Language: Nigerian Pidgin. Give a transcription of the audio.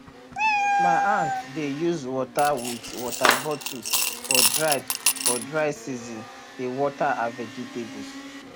my aunt dey use water wit water bottle for dry for dry season dey water her vegetables